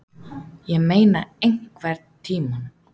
Ég meina EINHVERNTÍMANN?